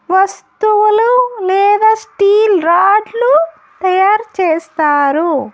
వస్తువులు లేదా స్టీల్ రాడ్లు తయారు చేస్తారు.